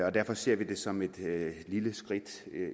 og derfor ser vi det som et lille skridt